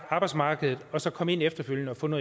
arbejdsmarkedet og så komme ind efterfølgende og få noget